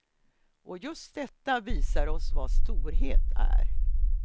Och just detta visar oss vad storhet är.